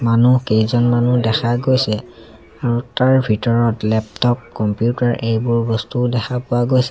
মানুহ কেইজনমানো দেখা গৈছে তাৰ ভিতৰত লেপটপ কম্পিউটাৰ এইবোৰ বস্তুও দেখা পোৱা গৈছে।